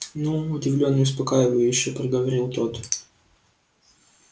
ну удивлённо и успокаивающе проговорил тот